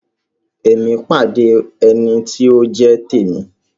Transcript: Emi pàdé ẹní ti o jẹ t'emi.